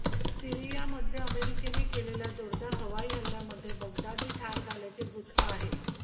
सिरीयामध्ये अमेरिकेने केलेल्या जोरदार हवाई हल्ल्यामध्ये बगदादी ठार झाल्याचे वृत्त आहे